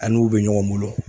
A n'u bɛ ɲɔgɔn bolo